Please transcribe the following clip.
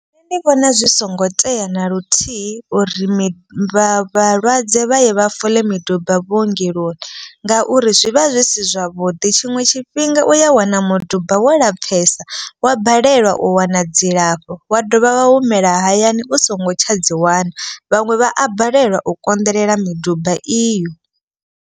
Nṋe ndi vhona zwi songo tea na luthihi uri vhalwadze vha ye vha fola miduba vhuongeloni. Ngauri zwi vha zwi si zwavhuḓi tshiṅwe tshifhinga u ya wana muduba wo lapfesa. Wa balelwa u wana dzilafho wa dovha wa humela hayani u songo tshadzi wana. Vhaṅwe vha a balelwa u konḓelela miduba iyo.